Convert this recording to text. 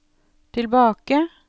tilbake